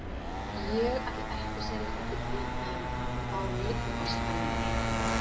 Ég ætla að seilast eftir því en þá lyppast það niður.